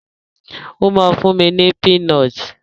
Ó máa fún mi ní pínọtì.